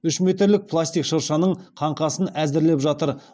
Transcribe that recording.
үш метрлік пластик шыршаның қаңқасын әзірлеп жатыр